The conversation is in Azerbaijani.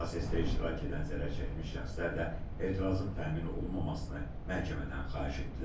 Prosesdə iştirak edən zərərçəkmiş şəxslər də etirazın təmin olunmamasını məhkəmədən xahiş etdilər.